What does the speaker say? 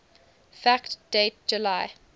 fact date july